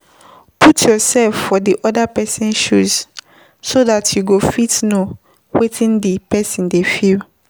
Put yourseld for di oda person shoes so dat you go fit know wetin di person dey feel